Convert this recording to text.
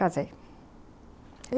Casei.